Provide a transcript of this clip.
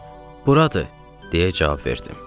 Mən “Buradır” deyə cavab verdim.